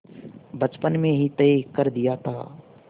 बचपन में ही तय कर दिया था